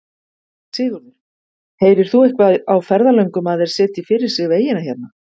Sigurður: Heyrir þú eitthvað á ferðalöngum að þeir setji fyrir sig vegina hérna?